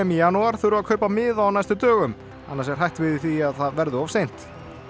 janúar þurfa að kaupa miða á næstu dögum annars er hætt við því að það verði of seint og